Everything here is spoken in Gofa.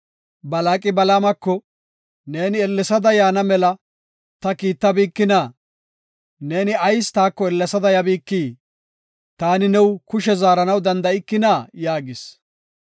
Balaaqi Balaamako, “Neeni ellesada yaana mela ta kiittabikina? Neeni ayis taako ellesada yabikii? Taani new kushe zaaranaw danda7ikina?” yaagis.